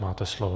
Máte slovo.